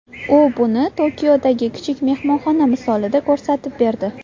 U buni Tokiodagi kichik mehmonxona misolida ko‘rsatib berdi.